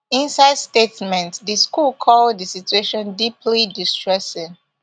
inside statement di school call di situation deeply distressing